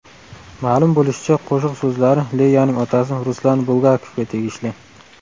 Ma’lum bo‘lishicha, qo‘shiq so‘zlari Leyaning otasi Ruslan Bulgakovga tegishli.